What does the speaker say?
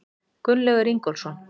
Gunnlaugur Ingólfsson.